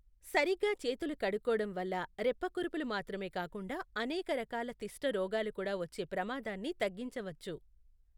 సరిగ్గా చేతులు కడుక్కోవడం వల్ల రెప్పకురుపులు మాత్రమే కాకుండా అనేక రకాల తిష్ట రోగాలు కూడా వచ్చే ప్రమాదాన్ని తగ్గించవచ్చు.